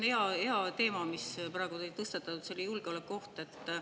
See on hea teema, mille te praegu tõstatasite, see julgeolekuoht.